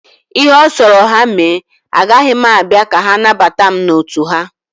Ihe ọ sọrọ ha mee, agaghị m abịa ka ha nabata mụ n'otu ha.